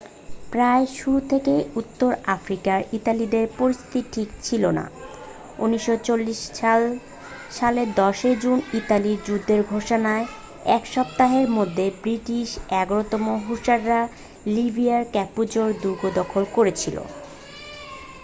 প্রায় শুরু থেকেই উত্তর আফ্রিকার ইতালীয়দের পরিস্থিতি ঠিক ছিল না 1940 সালের 10 জুন ইতালির যুদ্ধ ঘোষণার এক সপ্তাহের মধ্যেই ব্রিটিশ 11 তম হুসাররা লিবিয়ায় ক্যাপুজো দুর্গ দখল করেছিল